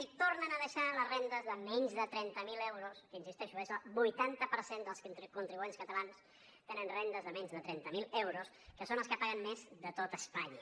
i tornen a deixar les rendes de menys de trenta mil euros que insisteixo és el vuitanta per cent dels contribuents catalans tenen rendes de menys de trenta mil euros que són els que paguen més de tot espanya